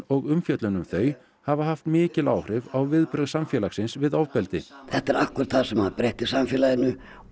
og umfjöllun um þau hafa haft mikil áhrif á viðbrögð samfélagsins við ofbeldi þetta er ákkurat það sem breytti samfélaginu